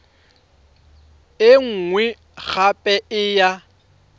e nngwe gape e ya